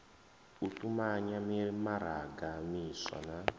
u tumanya mimaraga miswa na